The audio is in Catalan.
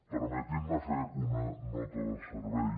permetin me fer una nota de servei